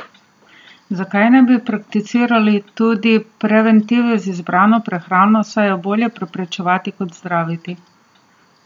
Zakaj ne bi prakticirali tudi preventive z izbrano prehrano, saj je bolje preprečevati kot zdraviti?